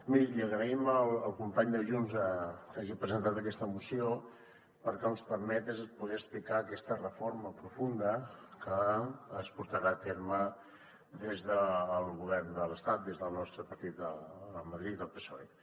miri li agraïm al company de junts que hagi presentat aquesta moció perquè el que ens permet és poder explicar aquesta reforma profunda que es portarà a terme des del govern de l’estat des del nostre partit a madrid el psoe